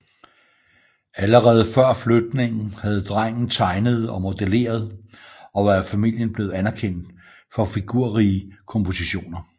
Allerede før flytningen havde drengen tegnet og modelleret og var af familien blevet anerkendt for figurrige kompositioner